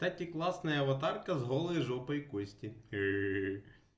кстати классная аватарка с голой жопой кости